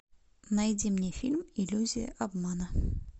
найди мне фильм иллюзия обмана